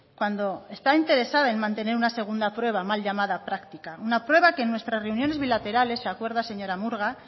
cuando está interesada en mantener una segunda prueba mal llamada práctica una prueba que en nuestras reuniones bilaterales se acuerda señora murga